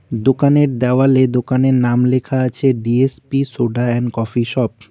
দোকানের দেওয়ালে দোকানের নাম লেখা আছে D S P soda and coffee shop.